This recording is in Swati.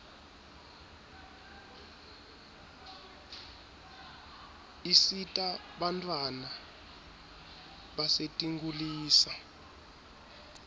isita bantfwana basetinkulisa